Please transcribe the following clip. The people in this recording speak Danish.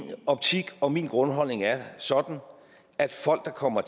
optik og min grundholdning er sådan at folk der kommer